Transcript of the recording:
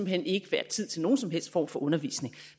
hen ikke være tid til nogen som helst form for undervisning